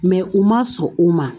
u ma sɔn o ma